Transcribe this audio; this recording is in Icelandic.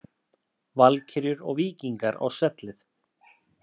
Valkyrjur og Víkingar á svellið